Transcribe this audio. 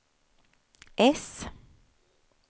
äss